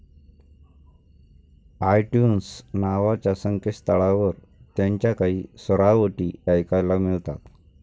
ITunes नावाच्या संकेतस्थळावर त्यांच्या काही सुरावटी ऐकायला मिळतात.